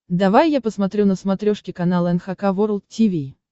давай я посмотрю на смотрешке канал эн эйч кей волд ти ви